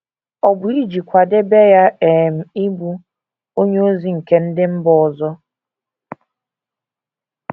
Ọ̀ bụ iji kwadebe ya um ịbụ “ onyeozi nke ndị mba ọzọ ”?